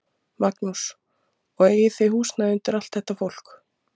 Magnús: Og eigið þið húsnæði undir allt þetta fólk?